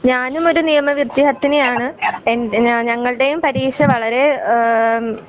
ഞാനും ഒരു നിയമ വിത്യാർഥിനി ആണ്. എന്റെ ഞ ഞങളുടെയും പരീക്ഷ വളരെ ഏഹ് ഉം.